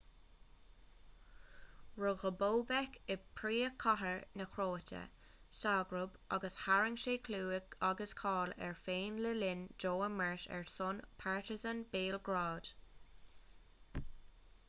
rugadh bobek i bpríomhchathair na cróite ságrab agus tharraing sé clú agus cáil air féin le linn dó imirt ar son partizan béalgrád